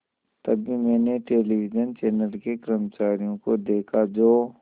तभी मैंने television channel के कर्मचारियों को देखा जो